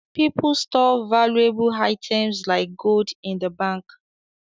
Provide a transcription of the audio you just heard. People store valuable items like gold in the bank